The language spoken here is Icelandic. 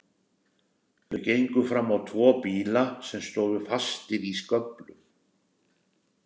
Þau gengu fram á tvo bíla sem stóðu fastir í sköflum.